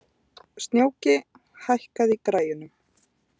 Snjóki, hækkaðu í græjunum.